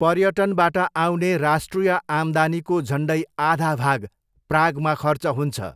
पर्यटनबाट आउने राष्ट्रिय आम्दानीको झन्डै आधा भाग प्रागमा खर्च हुन्छ।